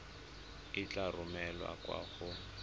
e tla romelwa kwa go